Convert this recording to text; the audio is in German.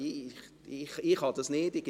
Ich kann das nicht.